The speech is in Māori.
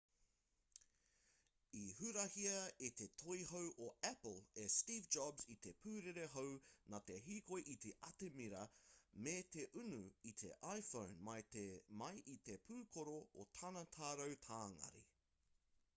i hurahia e te toihau o apple e steve jobs i te pūrere hou nā te hīkoi i te atamira me te unu i te iphone mai i te pūkoro o tana tarau tāngari